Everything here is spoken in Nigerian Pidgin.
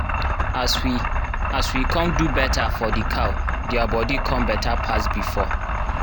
as we as we come do better for the cow their body come better pass before